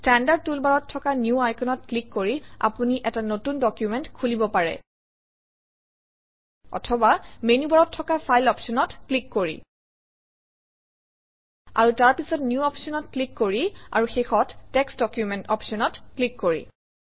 standard টুলবাৰত থকা new আইকনত ক্লিক কৰি আপুনি এটা নতুন ডকুমেণ্ট খুলিব পাৰে অথবা মেনুবাৰত থকা ফাইল অপশ্যনত ক্লিক কৰি আৰু তাৰপিছত নিউ অপশ্যনত ক্লিক কৰি আৰু শেষত টেক্সট ডকুমেণ্ট অপশ্যনত ক্লিক কৰি